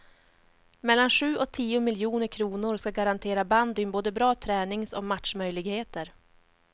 Mellan sju och tio miljoner kronor ska garantera bandyn både bra tränings och matchmöjligheter.